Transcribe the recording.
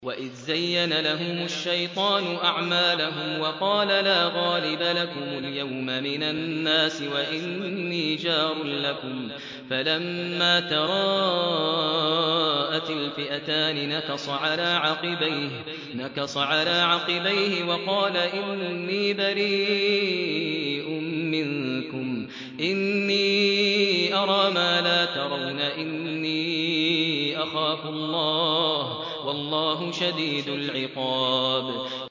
وَإِذْ زَيَّنَ لَهُمُ الشَّيْطَانُ أَعْمَالَهُمْ وَقَالَ لَا غَالِبَ لَكُمُ الْيَوْمَ مِنَ النَّاسِ وَإِنِّي جَارٌ لَّكُمْ ۖ فَلَمَّا تَرَاءَتِ الْفِئَتَانِ نَكَصَ عَلَىٰ عَقِبَيْهِ وَقَالَ إِنِّي بَرِيءٌ مِّنكُمْ إِنِّي أَرَىٰ مَا لَا تَرَوْنَ إِنِّي أَخَافُ اللَّهَ ۚ وَاللَّهُ شَدِيدُ الْعِقَابِ